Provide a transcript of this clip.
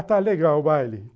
Ah, está legal o baile.